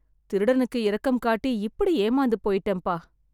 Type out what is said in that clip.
திருடனுக்கு இரக்கம் காட்டி, இப்படி ஏமாந்து போயிட்டேன்பா